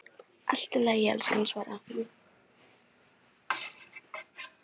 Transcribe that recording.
Allt í lagi, elskan, svaraði hún.